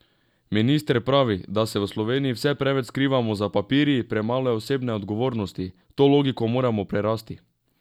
Minister pravi, da se v Sloveniji vse preveč skrivamo za papirji, premalo je osebne odgovornosti: 'To logiko moramo prerasti.